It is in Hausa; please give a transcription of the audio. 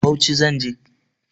Bauchi zan je.